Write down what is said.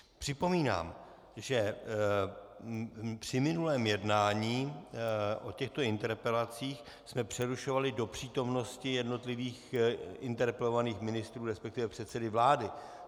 Připomínám, že při minulém jednání o těchto interpelacích jsme přerušovali do přítomnosti jednotlivých interpelovaných ministrů, respektive předsedy vlády.